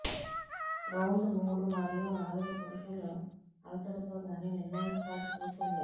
round మూడు మరియు నాలుగు పురుషులు అలసటతో కానీ నిర్ణయిస్తారు చూసింది